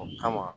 O kama